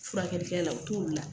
Furakɛlikɛ la, o t'olu la.